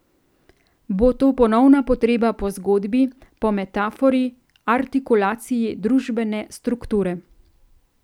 Bo to ponovna potreba po zgodbi, po metafori, artikulaciji družbene strukture?